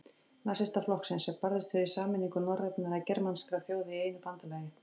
Nasistaflokksins, sem barðist fyrir sameiningu norrænna eða germanskra þjóða í einu bandalagi.